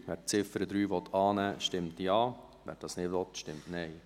Wer die Ziffer 3 annehmen will, stimmt Ja, wer dies nicht will, stimmt Nein.